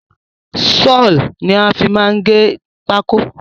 Saw ni a má n fi gé pákó